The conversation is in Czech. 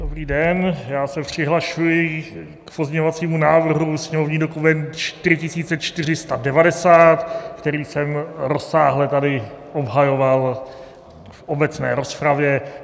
Dobrý den, já se přihlašuji k pozměňovacímu návrhu, sněmovní dokument 4490, který jsem rozsáhle tady obhajoval v obecné rozpravě.